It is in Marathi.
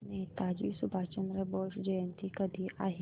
नेताजी सुभाषचंद्र बोस जयंती कधी आहे